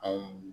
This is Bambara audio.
A